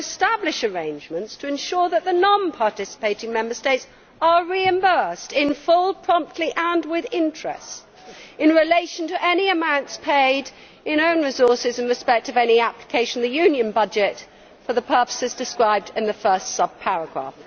shall establish arrangements to ensure that the non participating Member States are reimbursed in full, promptly and with interest, in relation to any amounts paid in own resources in respect of any application of the Union budget for the purposes described in the first subparagraph.'